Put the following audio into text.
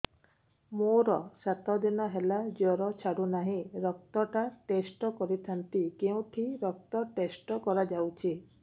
ମୋରୋ ସାତ ଦିନ ହେଲା ଜ୍ଵର ଛାଡୁନାହିଁ ରକ୍ତ ଟା ଟେଷ୍ଟ କରିଥାନ୍ତି କେଉଁଠି ରକ୍ତ ଟେଷ୍ଟ କରା ଯାଉଛି